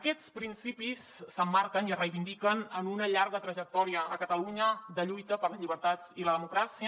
aquests principis s’emmarquen i es reivindiquen en una llarga trajectòria a catalunya de lluita per les llibertats i la democràcia